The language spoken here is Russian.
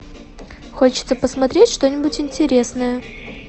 хочется посмотреть что нибудь интересное